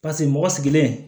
Paseke mɔgɔ sigilen